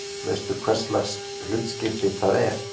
Veistu hverslags hlutskipti það er?